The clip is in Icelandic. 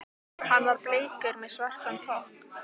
Hann var bleikur með svartan topp.